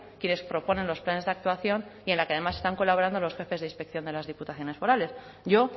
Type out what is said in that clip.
quienes proponen los planes de actuación y en la que además están colaborando los jefes de inspección de las diputaciones forales yo